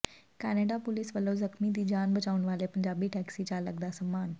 Canada police ਵੱਲੋਂ ਜ਼ਖ਼ਮੀ ਦੀ ਜਾਨ ਬਚਾਉਣ ਵਾਲੇ ਪੰਜਾਬੀ ਟੈਕਸੀ ਚਾਲਕ ਦਾ ਸਨਮਾਨ